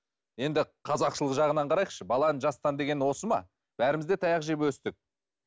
енді қазақшылық жағынан қарайықшы баланы жастан деген осы ма бәріміз де таяқ жеп өстік